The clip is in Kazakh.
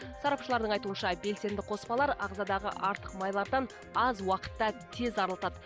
сарапшылардың айтуынша белсенді қоспалар ағзадағы артық майлардан аз уақытта тез арылтады